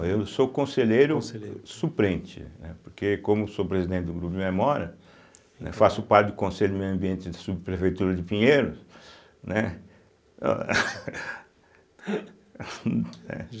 Eu sou conselheiro suplente, né, porque como sou presidente do Grupo de Memórias, faço parte do conselho do meio ambiente da Subprefeitura de Pinheiros, né.